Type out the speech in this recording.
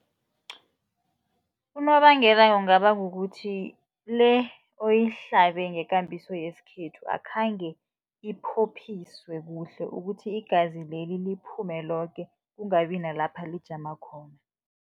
Unobangela kungaba kukuthi le oyihlabe ngekambiso yesikhethu, akhange iphophiswe kuhle ukuthi igazi leli liphume loke kungabi nalapha lijama khona.